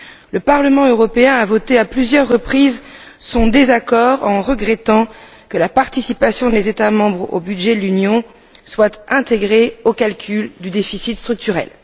Le Parlement européen a voté à plusieurs reprises son désaccord en regrettant que la participation des États membres au budget de l'Union soit intégrée au calcul du déficit structurel.